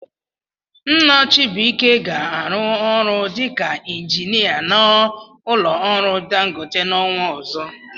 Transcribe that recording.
Nna Chibuike ga-arụ ọrụ dịka injinia n'ụlọ ọrụ Dangote n'ọnwa ọzọ.